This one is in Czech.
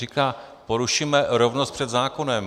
Říká: porušíme rovnost před zákonem.